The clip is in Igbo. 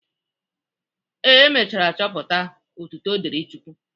Ee, emechara chọpụta. Otuto dịri Chukwu.